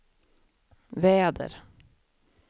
väder